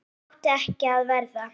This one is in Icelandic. Það átti ekki að verða.